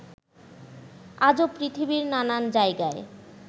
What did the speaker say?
আজো পৃথিবীর নানান জায়গায়